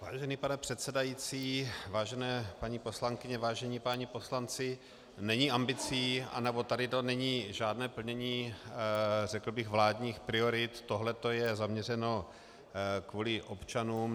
Vážený pane předsedající, vážené paní poslankyně, vážení páni poslanci, není ambicí, anebo tady to není žádné plnění řekl bych vládních priorit, tohleto je zaměřeno kvůli občanům.